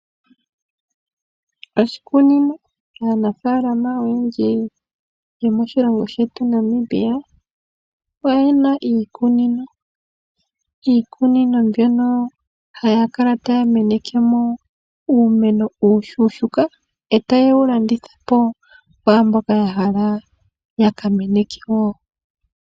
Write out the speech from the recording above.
Oshikunino, aanafaalama oyendji yomoshilongo shetu Namibia oye na iikunino, iikunino mbyono haya kala taya meneke mo uumeno uushuushuuka etaye wu landitha po kwaamboka ya hala ya ka meneke woo.